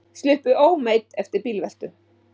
Sluppu ómeidd eftir bílveltu